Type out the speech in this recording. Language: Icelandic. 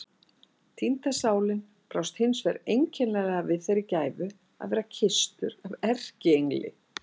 Týnda sálin brást hins vegar einkennilega við þeirri gæfu að vera kysstur af erkiengli.